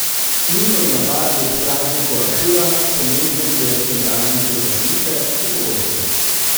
Njihovi napadi ob prazniku ašura, pomembnem verskem prazniku za šiite, so pogosti.